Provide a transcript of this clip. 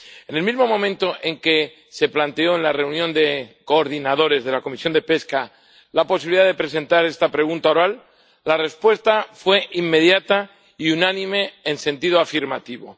En el mismo momento en que se planteó en la reunión de coordinadores de la Comisión de Pesca la posibilidad de presentar esta pregunta oral, la respuesta fue inmediata y unánime en sentido afirmativo.